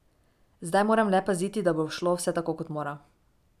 Zdaj moram le paziti, da bo šlo vse tako, kot mora.